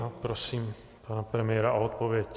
A prosím pana premiéra o odpověď.